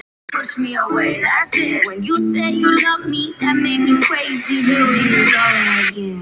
Sýningu lýkur.